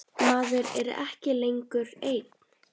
Maður er ekki lengur einn.